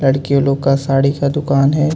लड़कियों लोग का साडी का दुकान हे.